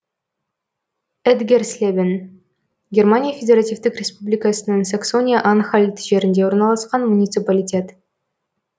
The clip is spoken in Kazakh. этгерслебен германия федеративтік республикасының саксония анхальт жерінде орналасқан муниципалитет